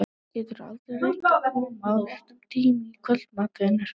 Geturðu aldrei reynt að koma á réttum tíma í kvöldmat, vinur?